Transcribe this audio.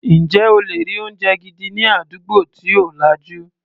Ǹjẹ́ o lè rí oúnjẹ gidi ní àdúgbò tí ò lajú.